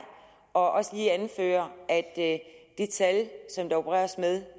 og også lige anføre at de tal som der opereres med